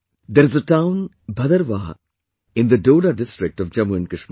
There is a town 'Bhadarwah' in the Doda district of Jammu and Kashmir